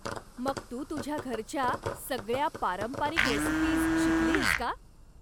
मग तू तुझ्या घरच्या सगळ्या पारंपरिक रेसीपीज शिकलीयस का?